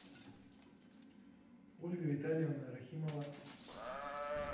ольга витальевна рахимова